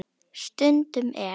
Stundum er